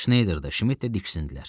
Şneyder də, Şmit də diksindilər.